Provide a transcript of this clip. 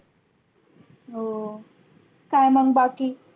हो काय मग बाकी?